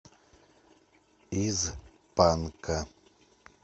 из панка